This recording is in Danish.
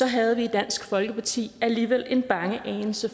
havde vi i dansk folkeparti alligevel en bange anelse